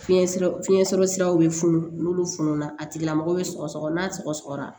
Fiɲɛ fiɲɛ sɔrɔ siraw be funu n'olu fununa a tigilamɔgɔ be sɔgɔsɔgɔ n'a sɔgɔsɔgɔra